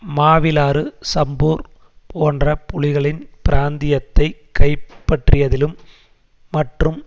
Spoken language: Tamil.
மாவிலாறு சம்பூர் போன்ற புலிகளின் பிராந்தியத்தைக் கைப்பற்றியதிலும் மற்றும்